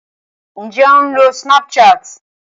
Ǹjé o ń lo Snapchat?